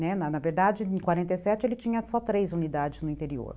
Na na verdade, em quarenta e sete, ele tinha só três unidades no interior.